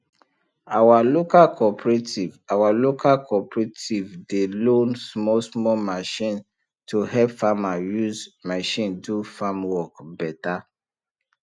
our local cooperative our local cooperative dey loan small small machine to help farmer use machine do farm work better